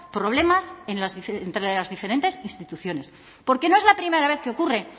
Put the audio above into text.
problemas entre las diferentes instituciones porque no es la primera vez que ocurre